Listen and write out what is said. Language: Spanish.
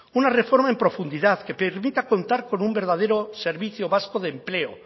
una reforma en profundidad que permita contar con un verdadero servicio vasco de empleo